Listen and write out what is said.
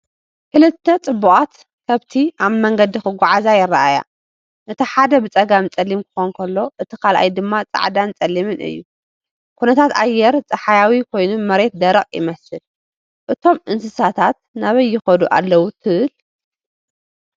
ክልተ ጽቡቓት ከብቲ ኣብ መንገዲ ክጓዓዛ ይረኣያ። እቲ ሓደ ብጸጋም ጸሊም ክኸውን ከሎ፡ እቲ ካልኣይ ድማ ጻዕዳን ጸሊምን እዩ። ኩነታት ኣየር ጸሓያዊ ኮይኑ መሬት ደረቕ ይመስል። እቶም እንስሳታት ናበይ ይኸዱ ኣለዉ ትብል?